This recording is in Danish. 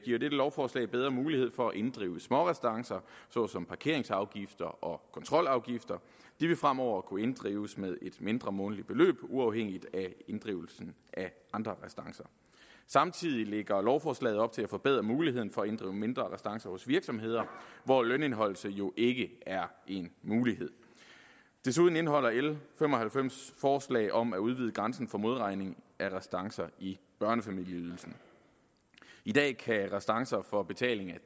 lovforslag bedre mulighed for at inddrive smårestancer såsom parkeringsafgifter og kontrolafgifter de vil fremover kunne inddrives med et mindre månedligt beløb uafhængigt af inddrivelsen af andre restancer samtidig lægger lovforslaget op til at forbedre muligheden for at inddrive mindre restancer hos virksomheder hvor lønindeholdelse jo ikke er en mulighed desuden indeholder l fem og halvfems forslag om at udvide grænsen for modregning af restancer i børnefamilieydelsen i dag kan restancer for betaling af